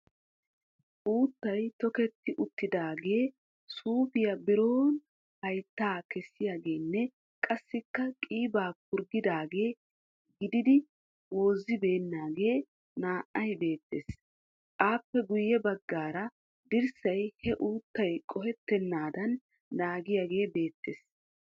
Uuttay tokerti uttiidaagee suuppay biron hayittaa kessiyageenne qassikka qiibaa purggidaagaa gididi woozzibeennaagee naa"ay beettes. Aappe guyye baggaara dirssay he uuttay qohettennaadan naagiyagee beettes.